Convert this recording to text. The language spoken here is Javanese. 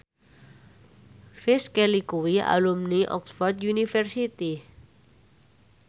Grace Kelly kuwi alumni Oxford university